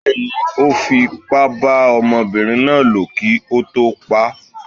Bẹ́ẹ̀ni, Ó fi ipá bá ọmọbinrin náà lò kí ó tó pa á.